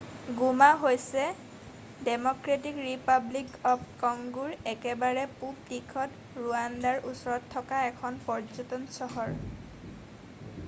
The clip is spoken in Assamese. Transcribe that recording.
গোমা হৈছে ডেম'ক্ৰেটিক ৰিপাব্লিক অৱ কংগোৰ একেবাৰে পূৱ দিশত ৰুৱাণ্ডাৰ ওচৰত থকা এখন পৰ্যটন চহৰ